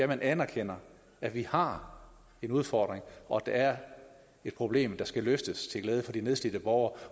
man anerkender at vi har en udfordring og at der er et problem der skal løses til glæde for de nedslidte borgere